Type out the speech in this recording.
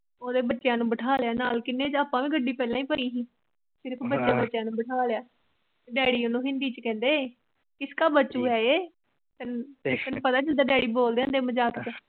ਉਹਦੇ ਬੱਚਿਆ ਨੂੰ ਬਠਾ ਲਿਆ ਨਾਲ ਗੱਡੀ ਪਹਿਲਾ ਹੀ ਭਰੀ ਭੀ ਵੱਡੇ ਬੱਚਿਆ ਨੂੰ ਬਿਠਾ ਲਿਆ ਡੇਡੀ ਉਹਨੂੰ ਹਿੰਦੀ ਚ ਕਹਿੰਦੇ ਕਿਸਕਾ ਬੱਚੂ ਹੈ ਜਿ ਪਤਾ ਨੂੰ ਜਿਦਾ ਡੇਡੀ ਬੋਲਦੇ ਹੁੰਦੇ ਮਜਾਕ ਚ ।